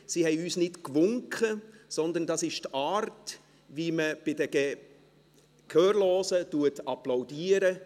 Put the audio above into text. Sie haben nicht gewinkt, sondern es ist die Art und Weise, wie man bei den Gehörlosen applaudiert.